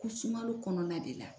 Ko sunkalo kɔnɔna de la.